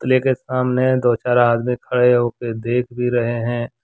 Play के सामने दो चार आदमी खड़े होके देख भी रहे है।